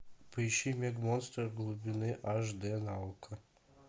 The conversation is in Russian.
поищи мег монстр глубины аш дэ на окко